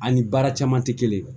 An ni baara caman te kelen